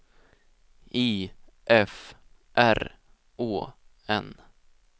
I F R Å N